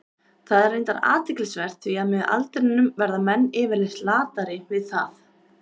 Það er reyndar athyglisvert, því að með aldrinum verða menn yfirleitt latari við það.